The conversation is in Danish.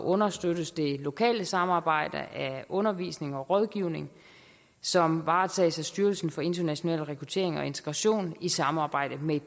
understøttes det lokale samarbejde af undervisning og rådgivning som varetages af styrelsen for international rekruttering og integration i samarbejde med